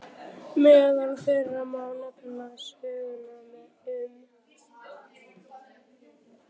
Meðal þeirra má nefna sögnina um